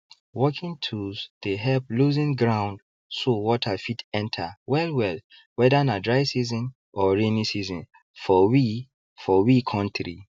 working tools dey help loosen ground so water fit enter wellwell whether na dry season or rainy season for we for we kontri